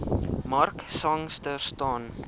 mark sangster staan